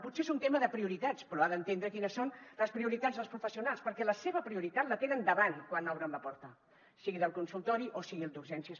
potser és un tema de prioritats però ha d’entendre quines són les prioritats dels professionals perquè la seva prioritat la tenen davant quan obren la porta sigui del consultori o sigui d’urgències